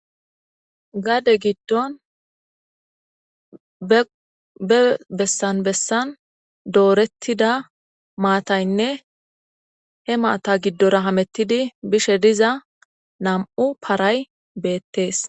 gaade giddon be bessan bessan doorettida maataynne he maata giddorahamettidi bishe diza nam7u paray beettees